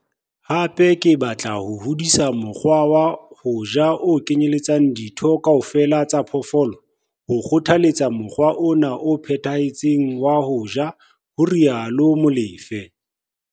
Hape ke batla ho hodisa mokgwa wa ho ja o kenyeletsang ditho kaofela tsa phoofolo, ho kgothaletsa mokgwa ona o phethahetseng wa ho ja, ho rialo Molefe.